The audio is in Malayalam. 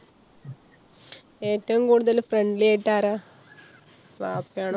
ഏറ്റവും കൂടുതൽ friendly ആയിട്ട് ആരാ? വാപ്പയാണോ ഉമ്മയാണോ?